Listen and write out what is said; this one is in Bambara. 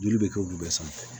Joli bɛ kɛ olu bɛɛ sanfɛ